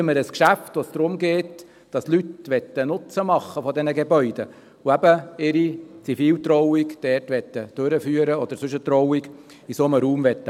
Heute haben wir ein Geschäft, bei dem es darum geht, dass Leute Nutzen von diesen Gebäuden machen möchten, und eben ihre Ziviltrauung oder sonst eine Trauung in einem solchen Raum machen möchten.